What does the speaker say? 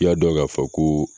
I y'a dɔn k'a fɔ koo